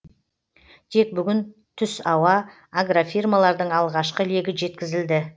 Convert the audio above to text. тек бүгін түсауа агрофирмалардың алғашқы легі жеткізілді